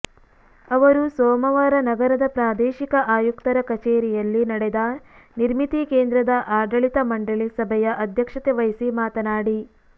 ಅವರು ಸೋಮವಾರ ನಗರದ ಪ್ರಾದೇಶಿಕ ಆಯುಕ್ತರ ಕಚೇರಿಯಲ್ಲಿ ನಡೆದ ನಿರ್ಮಿತಿ ಕೇಂದ್ರದ ಆಡಳಿತ ಮಂಡಳಿ ಸಭೆಯ ಅಧ್ಯಕ್ಷತೆ ವಹಿಸಿ ಮಾತನಾಡಿ